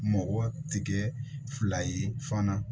Mɔgɔ tigɛ fila ye fana